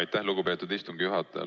Aitäh, lugupeetud istungi juhataja!